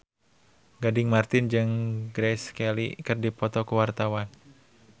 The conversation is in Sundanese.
Gading Marten jeung Grace Kelly keur dipoto ku wartawan